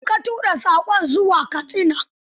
A ina ka tura saƙon zuwa Katsina?